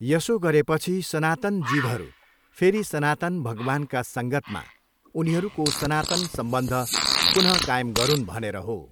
यसो गरेपछि सनातन जीवहरू फेरि सनातन भगवान्का सङ्गतमा उनीहरूको सनातन सम्बन्ध पुनःकायम गरून् भनेर हो।